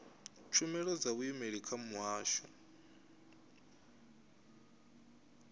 tshumelo dza vhuimeli kha muhasho